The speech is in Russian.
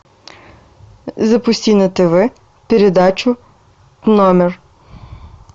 запусти на тв передачу номер